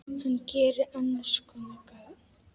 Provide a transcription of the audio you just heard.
Hann gerir annars konar gagn.